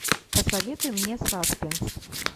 посоветуй мне саспенс